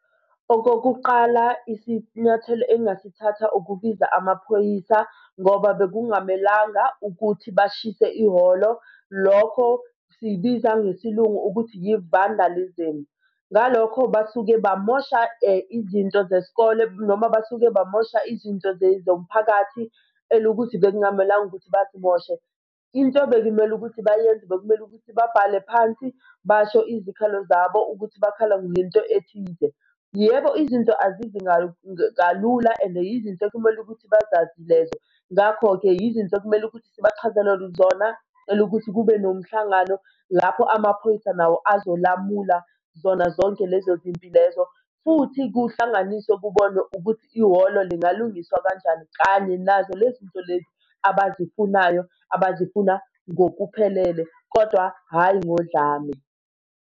Okokuqala isinyathelo engingasithatha ukubiza amaphoyisa ngoba bekungamelanga ukuthi bashise ihholo. Lokho siyibiza ngesiLungu ukuthi yi-vandalism. Ngalokho basuke bamosha izinto zesikole noma basuke bamosha izinto zomphakathi elukuthi bekukamelanga ukuthi bazimoshe. Into bekumele ukuthi bayenze bekumele ukuthi babhale phansi basho izikhalo zabo ukuthi bakhala ngento ethize. Yebo izinto azizi kalula and yizinto ekumele ukuthi bazazi lezo. ngakho-ke yizinto ekumele ukuthi sibachazele zona elokuthi kube nomhlangano lapho amaphoyisa nawo azolamula zona zonke lezo zinto lezo. Futhi kuhlanganiswe kubonwe ukuthi ihholo zingalungiswa kanjani kanye nazo lezinto lezi abazifunayo abazifuna ngokuphelele, kodwa hhayi ngodlame.